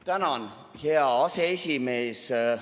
Tänan, hea aseesimees!